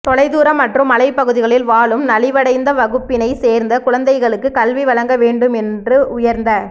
தொலைதூர மற்றும் மலைப் பகுதிகளில் வாழும் நலிவடைந்த வகுப்பினைச் சேர்ந்த குழந்தைகளுக்கும் கல்வி வழங்க வேண்டும் என்ற உயர்ந்த